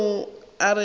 ke yeo e a go